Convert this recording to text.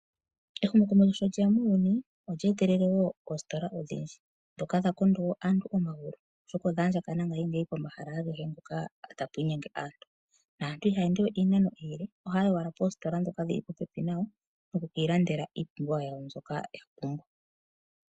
Ehumokomeho sho lyeya muuyuni, olya etelele wo oositola odhindji. Dha konda nduno aantu omagulu, oshoka odha andjakana unene pomahala agehe mpoka tapu inyenge aantu. Aantu ihaa ende ishewe iinano iile, ohaa yi owala poositola dhoka dhili popepi nayo, oku kiilandela iipumbiwa yawo mbyoka ya pumbwa.